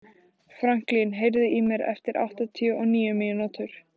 Franklín, heyrðu í mér eftir áttatíu og níu mínútur.